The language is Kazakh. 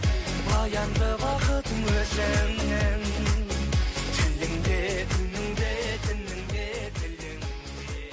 баянды бақытың өзіңнің тіліңде үніңде дініңде діліңде